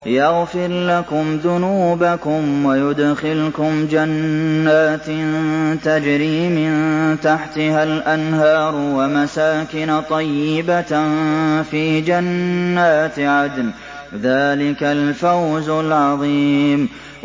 يَغْفِرْ لَكُمْ ذُنُوبَكُمْ وَيُدْخِلْكُمْ جَنَّاتٍ تَجْرِي مِن تَحْتِهَا الْأَنْهَارُ وَمَسَاكِنَ طَيِّبَةً فِي جَنَّاتِ عَدْنٍ ۚ ذَٰلِكَ الْفَوْزُ الْعَظِيمُ